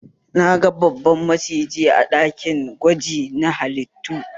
Na ga babban maciji a ɗakin gwaji na halittu